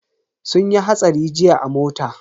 Sun yi hatsari jiya a mota.